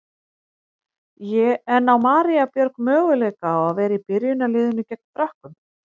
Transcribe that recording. En á María Björg möguleika á að vera í byrjunarliðinu gegn Frökkum?